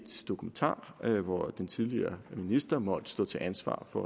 dokumentar hvor den tidligere minister måtte stå til ansvar for